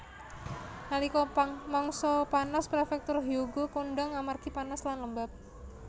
Nalika mangsa panas prefektur Hyogo kondhang amargi panas lan lembab